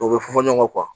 O bɛ fɔ ɲɔgɔn kɔ